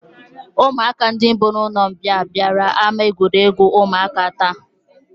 Ụmụaka ndị bi n'ụlọmbịa bịara ama egwuregwu ụmụaka taa